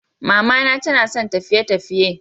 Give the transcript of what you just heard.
Mamana tanasan tafiye_tafiye.